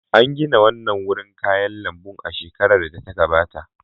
An gina wannan wurin kayan lambun a shekarar da ta gabata.